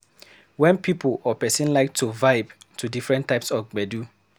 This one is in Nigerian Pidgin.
Wen pipo or person like to vibe to different types of gbedu